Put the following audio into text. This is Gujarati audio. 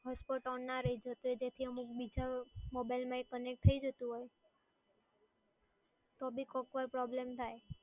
hotspot on ના રહેતું હોય અને પછી બીજા mobile એ connect થઈ જતું હોય, તો બી કોક વાર problem થાય.